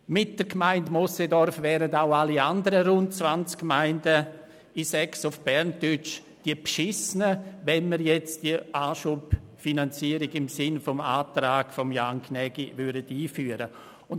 Mit der Gemeinde Moosseedorf wären auch alle anderen rund 20 Gemeinden die Betrogenen, wenn wir die Anschubfinanzierung im Sinne des Antrags von Jan Gnägi einführen würden.